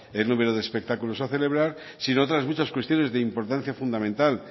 el número de espectáculos a celebrar sino otras muchas cuestiones de importancia fundamental